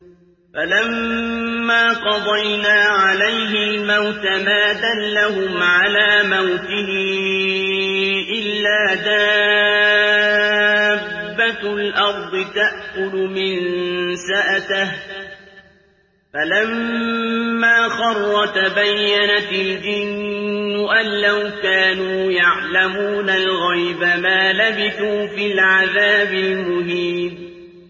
فَلَمَّا قَضَيْنَا عَلَيْهِ الْمَوْتَ مَا دَلَّهُمْ عَلَىٰ مَوْتِهِ إِلَّا دَابَّةُ الْأَرْضِ تَأْكُلُ مِنسَأَتَهُ ۖ فَلَمَّا خَرَّ تَبَيَّنَتِ الْجِنُّ أَن لَّوْ كَانُوا يَعْلَمُونَ الْغَيْبَ مَا لَبِثُوا فِي الْعَذَابِ الْمُهِينِ